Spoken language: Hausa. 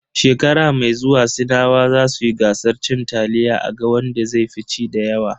Shekara mai zuwa sinawa zasu yi gasar cin taliya a ga wanda zai fi ci dayawa.